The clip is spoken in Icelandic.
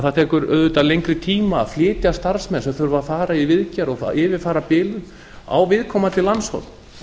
það tekur auðvitað lengri tíma að flytja starfsmenn sem þurfa að fara í viðgerð og yfirfara bilun á viðkomandi landshorn